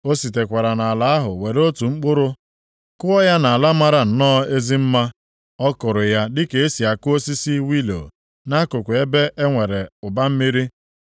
“ ‘O sitekwara nʼala ahụ were otu mkpụrụ kụọ ya nʼala mara nnọọ ezi mma. Ọ kụrụ ya dịka e si akụ osisi wilo nʼakụkụ ebe enwere ụba mmiri.